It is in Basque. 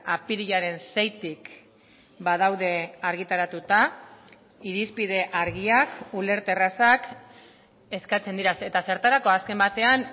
apirilaren seitik badaude argitaratuta irizpide argiak ulerterrazak eskatzen dira eta zertarako azken batean